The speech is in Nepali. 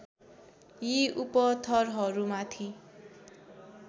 यी उपथरहरू माथि